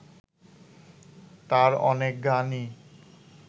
তাঁর অনেক গানই